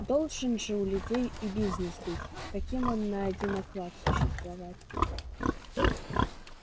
должен же у людей и бизнес быть как им на один оклад существовать